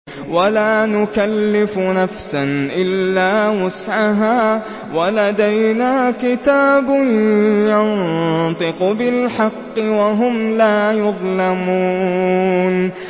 وَلَا نُكَلِّفُ نَفْسًا إِلَّا وُسْعَهَا ۖ وَلَدَيْنَا كِتَابٌ يَنطِقُ بِالْحَقِّ ۚ وَهُمْ لَا يُظْلَمُونَ